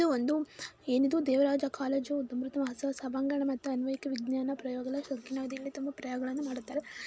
ಇದು ಒಂದು ಏನ್ ಇದು ದೇವರಾಜ ಕಾಲೇಜು ಅಮೃತ ಮಹೋತ್ಸವ ಸಭಾಂಗಣ ಮತ್ತು ಆನ್ವೇಕ ವಿಜ್ಞಾನ ಪ್ರಯೋಗ ತುಂಬಾ ಪ್ರಯೋಗಳನ್ನು ಮಾಡುತ್ತಾರೆ.